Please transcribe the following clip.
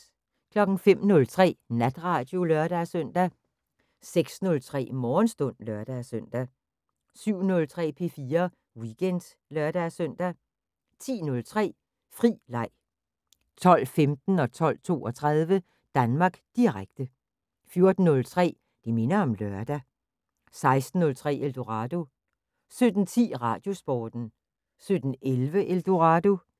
05:03: Natradio (lør-søn) 06:03: Morgenstund (lør-søn) 07:03: P4 Weekend (lør-søn) 10:03: Fri Leg 12:15: Danmark Direkte 12:32: Danmark Direkte 14:03: Det minder om lørdag 16:03: Eldorado 17:10: Radiosporten 17:11: Eldorado